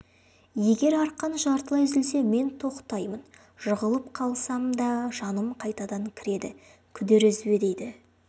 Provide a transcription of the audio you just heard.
егер арқан жартылай үзілсе мен тоқтаймын жығылып қалсам да жаным қайтадан кіреді күдер үзбе дейді